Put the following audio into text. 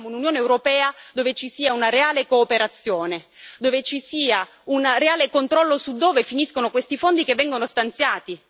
Noi vogliamo un'Unione europea dove ci sia una reale cooperazione, dove ci sia un reale controllo su dove finiscono questi fondi che vengono stanziati.